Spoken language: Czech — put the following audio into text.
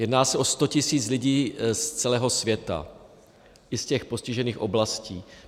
Jedná se o 100 tisíc lidí z celého světa, i z těch postižených oblastí.